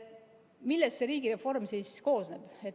Millest see riigireform siis koosneb?